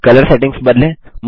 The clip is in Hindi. अब कलर सेटिंग्स बदलें